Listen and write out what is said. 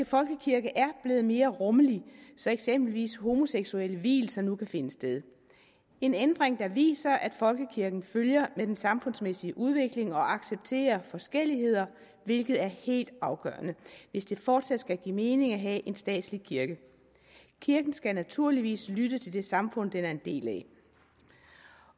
folkekirke er blevet mere rummelig så eksempelvis homoseksuelle vielser nu kan finde sted en ændring der viser at folkekirken følger med den samfundsmæssige udvikling og accepterer forskelligheder hvilket er helt afgørende hvis det fortsat skal give mening at have en statslig kirke kirken skal naturligvis lytte til det samfund den er en del af